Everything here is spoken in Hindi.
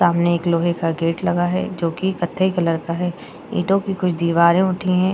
सामने एक लोहे का गेट लगा है जो कि कथई कलर का है। ईटों कि कुछ दिवारे उठी हैं।